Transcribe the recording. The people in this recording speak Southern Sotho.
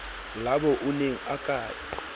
labo o ne a ke